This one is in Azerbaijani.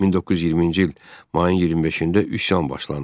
1920-ci il mayın 25-də üsyan başlandı.